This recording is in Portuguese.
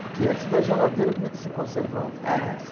Porque antes da geladeira como é que se conservava?h...